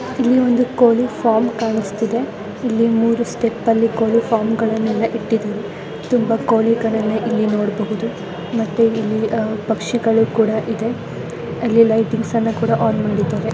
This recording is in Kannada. ಇಲ್ಲಿ ಒಂದು ಕೋಳಿ ಫಾರಂ ಕಾಣಿಸ್ತಿದೆ ಇಲ್ಲಿ ಮೂರು ಸ್ಟೆಪ್ ಅಲ್ಲಿ ಕೋಳಿ ಫಾರ್ಮ್ ನೆಲ್ಲ ಇಟ್ಟಿದೀವಿ ತುಂಬಾ ಕೋಳಿ ಗಳ್ಳನ ಇಲ್ಲಿ ನೋಡಬಹುದು ಮತ್ತೆ ಇಲ್ಲಿ ಪಕ್ಷಿಗಳು ಕೂಡ ಇದೆ ಅಲ್ಲಿ ಲೈಟಿಂಗ್ಸ್ ಅಣ್ಣ ಕೂಡ ಆನ್ ಮಾಡಿದ್ದಾರೆ.